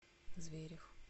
зверев